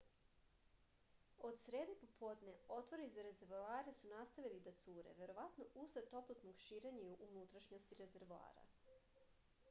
od srede popodne otvori za rezervoare su nastavili da cure verovatno usled toplotnog širenja u unutrašnjosti rezervoara